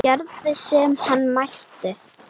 Hún gerði sem hann mælti.